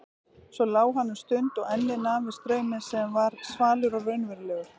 Svo lá hann um stund og ennið nam við strauminn sem var svalur og raunverulegur.